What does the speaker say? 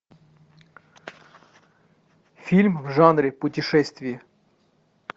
фильм в жанре путешествие